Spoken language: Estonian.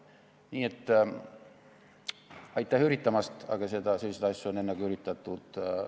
Nii et aitäh üritamast, aga selliseid asju on enne ka üritatud.